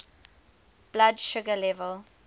blood sugar level